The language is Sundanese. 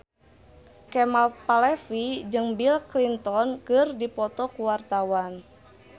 Kemal Palevi jeung Bill Clinton keur dipoto ku wartawan